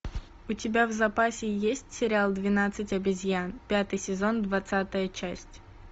у тебя в запасе есть сериал двенадцать обезьян пятый сезон двадцатая часть